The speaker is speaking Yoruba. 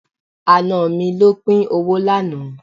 Àna mi ló pín owó lánàá.